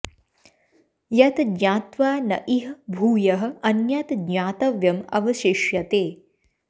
यत् ज्ञात्वा न इह भूयः अन्यत् ज्ञातव्यम् अवशिष्यते